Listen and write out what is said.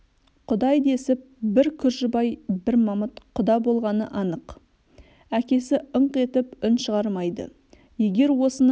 құдай десіп бір күржібай бір мамыт құда болғаны анық әкесі ыңқ етіп үн шығармайды егер осының